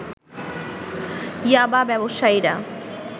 ইয়াবা ব্যবসায়ীরা